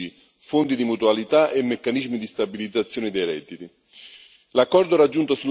degli agricoltori a strumenti assicurativi, fondi di mutualità e meccanismi di stabilizzazione dei redditi.